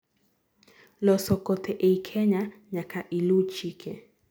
loso kothe ei Kenya nyaka ilu chike